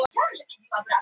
Hvernig þetta byrjaði